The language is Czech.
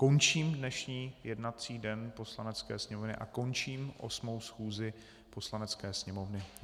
Končím dnešní jednací den Poslanecké sněmovny a končím 8. schůzi Poslanecké sněmovny.